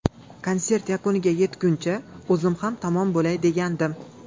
Konsert yakuniga yetguncha, o‘zim ham tamom bo‘lay degandim.